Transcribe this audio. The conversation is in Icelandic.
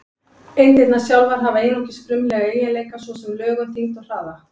Eindirnar sjálfar hafa einungis frumlega eiginleika, svo sem lögun, þyngd og hraða.